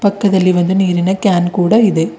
ಪಕ್ಕದಲ್ಲಿ ಒಂದು ನೀರಿನ ಕ್ಯಾನ್ ಕೂಡ ಇದೆ.